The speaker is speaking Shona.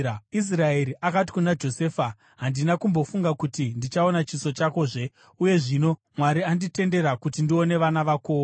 Israeri akati kuna Josefa, “Handina kumbofunga kuti ndichaona chiso chakozve, uye zvino Mwari anditendera kuti ndione vana vakowo.”